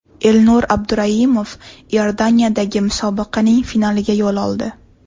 Elnur Abduraimov Iordaniyadagi musobaqaning finaliga yo‘l oldi.